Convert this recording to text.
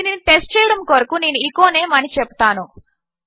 దీనిని టెస్ట్ చేయడము కొరకు నేను ఎచో నేమ్ అని చెపుతాను